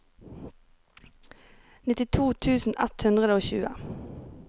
nittito tusen ett hundre og tjue